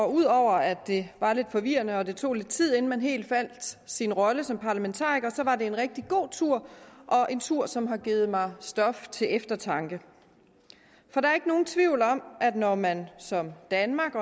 ud over at det var lidt forvirrende og tog lidt tid inden man helt fandt sin rolle som parlamentariker var det en rigtig god tur og en tur som har givet mig stof til eftertanke for der er ikke nogen tvivl om at når man som danmark